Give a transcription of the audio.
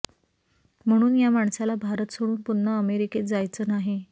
म्हणून या माणसाला भारत सोडून पुन्हा अमेरिकेत जायचं नाही